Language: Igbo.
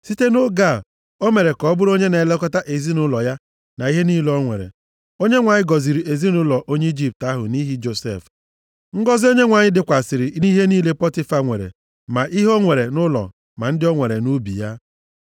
Site nʼoge a, o mere ka ọ bụrụ onye na-elekọta ezinaụlọ ya na ihe niile o nwere, Onyenwe anyị gọziri ezinaụlọ onye Ijipt ahụ nʼihi Josef. Ngọzị Onyenwe anyị dịkwasịrị nʼihe niile Pọtifa nwere, ma ihe o nwere nʼụlọ ma ndị o nwere nʼubi ya.